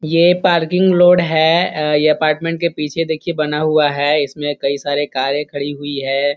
ये parking lot हैअ यह अपार्टमेंट के पीछे देखिए बना हुआ है इसमें कई सारे कारे खड़ी हुई है।